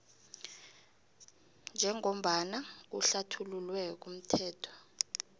njengombana kuhlathululwe kumthetho